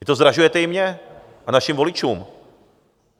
Vy to zdražujete i mně a našim voličům.